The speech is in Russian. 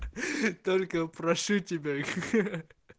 только прошу тебя ха ха